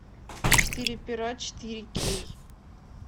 четыре пера четыре кей